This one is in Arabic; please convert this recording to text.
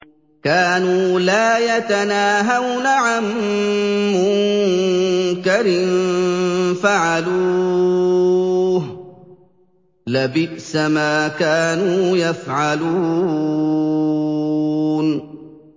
كَانُوا لَا يَتَنَاهَوْنَ عَن مُّنكَرٍ فَعَلُوهُ ۚ لَبِئْسَ مَا كَانُوا يَفْعَلُونَ